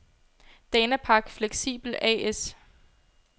Danapak Flexibel A/S